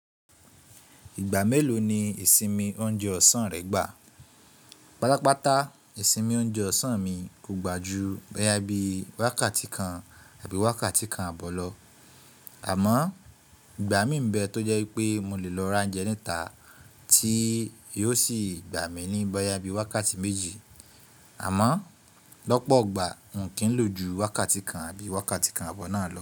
Ìgbà mélòó ni ìsinmi oúnjẹ ọ̀sán rẹ gbà? Pátápátá ìsinmi oúnjẹ ọ̀sán mi kò gbà ju bóyá bí wákàtí kan àbí wákàtí kan àbọ̀ lọ, àmọ́ ìgbà mí ń bẹ tó jẹ́ wípé mo lè lọ ra oúnjẹ níta tí yóò sì gbà mí ní bóyá bí wákàtí méjì, àmọ́ lọ́pọ̀ ọgbà n kì ń lò ju wákàtí kan àbí wákàtí kan àbọ̀ náà lọ.